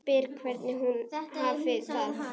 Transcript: Spyr hvernig hún hafi það.